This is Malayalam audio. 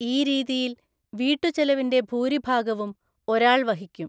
ഈ രീതിയിൽ, വീട്ടുചെലവിന്റെ ഭൂരിഭാഗവും ഒരാൾ വഹിക്കും.